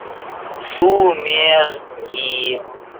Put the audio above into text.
сумерки